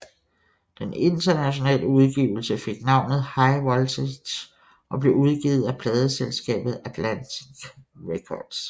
Den internationale udgivelse fik navnet High Voltage og blev udgivet af pladeselskabet Atlantic Records